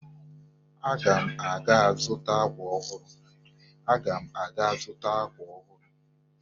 Aga m aga zụta akwa ọhụrụ